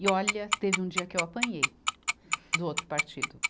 E, olha, teve um dia que eu apanhei do outro partido.